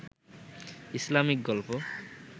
Islamic গল্প